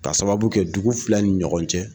K'a sababu kɛ dugu fila ni ɲɔgɔn cɛ